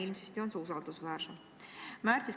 Ilmsesti on see usaldusväärsem.